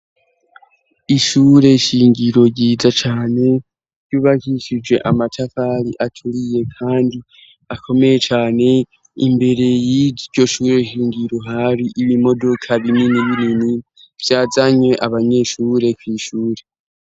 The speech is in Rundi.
ishure shingiro ryiza cane ry'ubagishije amatafari aturiye kandi akomeye cane imbere y'iryo shureshingiro hari ibimodoka binini birini byazanye abanyeshure ku ishure